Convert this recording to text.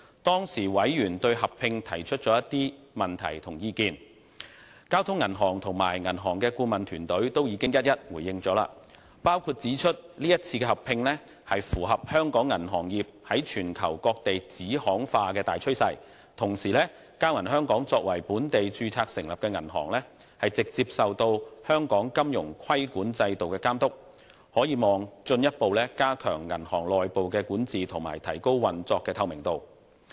當時委員對合併提出了的問題和意見，交通銀行及銀行的顧問團隊均已一一回應，指出這一次合併符合香港銀行業在全球各地子行化的大趨勢；同時，交銀香港作為本地註冊成立的銀行，直接受香港金融規管制度監督，可望進一步加強銀行內部管治，以及提高運作的透明度。